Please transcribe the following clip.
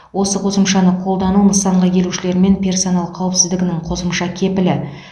осы қосымшаны қолдану нысанға келушілер мен персонал қауіпсіздігінің қосымша кепілі